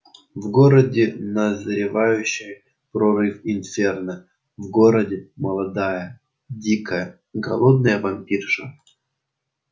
в городе назревающий прорыв инферно в городе молодая дикая голодная вампирша